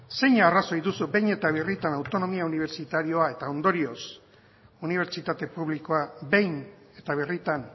zein arrazoi duzu behin eta birritan autonomia unibertsitarioa eta ondorioz unibertsitate publikoa behin eta birritan